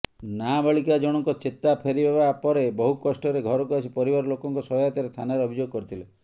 ନାବାଳିକା ଜଣଙ୍କ ଚେତା ଫେରିବା ପରେ ବହୁକଷ୍ଟରେ ଘରକୁ ଆସି ପରିବାର ଲୋକଙ୍କ ସହାୟତାରେ ଥାନାରେ ଅଭିଯୋଗ କରିଥିଲେ